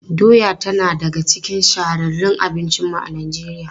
Doya tana daga cikin shahararrun abincinmu a Najeriya.